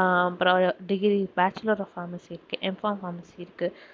அஹ் அப்பறம் degree bachelor of pharmacy இருக்கு M pharm pharmacy இருக்கு